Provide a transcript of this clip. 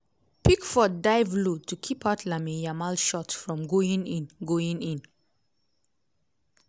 pickford dive low to keep out lamine yamal shot from going in. going in.